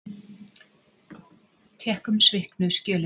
Tékkum sviknu skjölin.